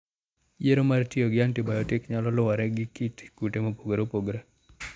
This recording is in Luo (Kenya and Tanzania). Yiero mar tiyo gi antibayotik nyalo luwore gi kit kute mopogore opogore.